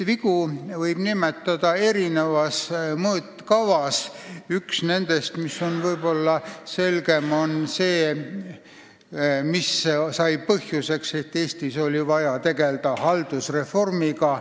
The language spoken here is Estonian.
Üks nendest, mis on võib-olla kõige selgem, sai põhjuseks, miks Eestis oli vaja tegelda haldusreformiga.